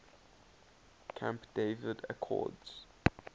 camp david accords